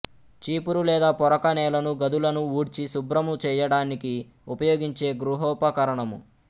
చీపురు లేదా పొరక నేలను గదులను ఊడ్చి శుభ్రము చేయటానికి ఉపయోగించే గృహోపకరణము